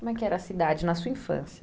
Como é que era a cidade na sua infância?